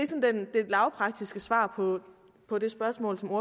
lavpraktiske svar på det spørgsmål som